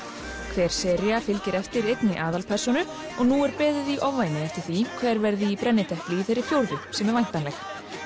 hver sería fylgir eftir einni aðalpersónu og nú er beðið í ofvæni eftir því hver verði í brennidepli í þeirri fjórðu sem er væntanleg